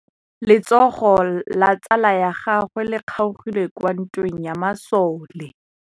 Letsôgô la tsala ya gagwe le kgaogile kwa ntweng ya masole.